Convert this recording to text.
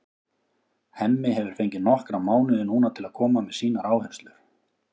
Hemmi hefur fengið nokkra mánuði núna til að koma með sínar áherslur.